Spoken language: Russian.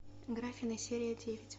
гриффины серия девять